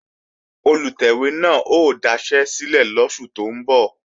Olùtẹ̀wé náà ó daṣẹ́lẹ̀ lóṣù tó ń bọ̀